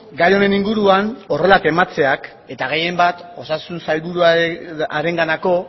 gai honen inguruan horrela tematzeak eta gehien bat osasun sailburuarenganako